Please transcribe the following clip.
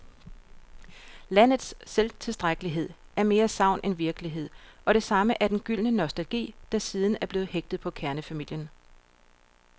Landets selvtilstrækkelighed er mere sagn end virkelighed, og det samme er den gyldne nostalgi, der siden er blevet hægtet på kernefamilien.